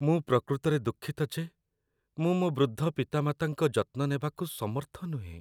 ମୁଁ ପ୍ରକୃତରେ ଦୁଃଖିତ ଯେ ମୁଁ ମୋ ବୃଦ୍ଧ ପିତାମାତାଙ୍କ ଯତ୍ନ ନେବାକୁ ସମର୍ଥ ନୁହେଁ।